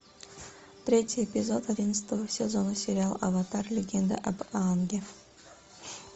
третий эпизод одиннадцатого сезона сериал аватар легенда об аанге